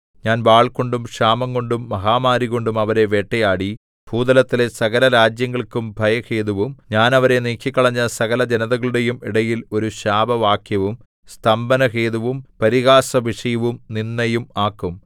ഞാൻ വാൾകൊണ്ടും ക്ഷാമംകൊണ്ടും മഹാമാരികൊണ്ടും അവരെ വേട്ടയാടി ഭൂതലത്തിലെ സകലരാജ്യങ്ങൾക്കും ഭയഹേതുവും ഞാൻ അവരെ നീക്കിക്കളഞ്ഞ സകലജനതകളുടെയും ഇടയിൽ ഒരു ശാപവാക്യവും സ്തംഭനഹേതുവും പരിഹാസവിഷയവും നിന്ദയും ആക്കും